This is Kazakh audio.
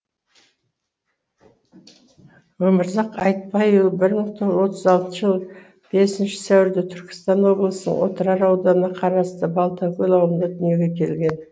өмірзақ айтбайұлы бір мың тоғыз жүз отыз алтыншы жылы бесінші сәуірде түркістан облысының отырар ауданына қарасты балтакөл ауылында дүниеге келген